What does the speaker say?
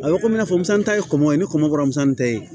A bɛ komi i n'a fɔ musa ta ye kɔngɔ ye ni kɔmɔ kɔrɔmuso ni ye